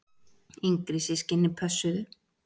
Yngri systkinin pössuðu.